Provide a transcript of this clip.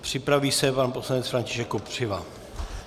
Připraví se pan poslanec František Kopřiva.